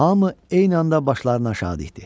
Hamı eyni anda başlarını aşağı dikdi.